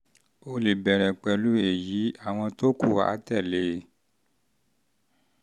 o lè bẹ̀rẹ̀ pẹ̀lú èyí; àwọn tó kù á tẹ̀lé e